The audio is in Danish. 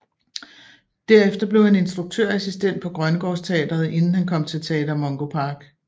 Derefter blev han instruktørassistent på Grønnegaards Teatret inden han kom til Teater Mungo Park